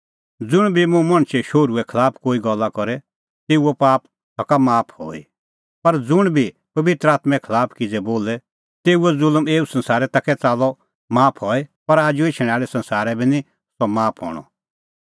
ज़ुंण बी मुंह मणछे शोहरूए खलाफ कोई गल्ला करे तेऊओ पाप सका माफ हई पर ज़ुंण बी पबित्र आत्में खलाफ किज़ै बोले तेऊओ ज़ुल्म एऊ संसारै ता कै च़ाल्लअ माफ हई पर आजू एछणैं आल़ै संसारै बी निं सह माफ हणअ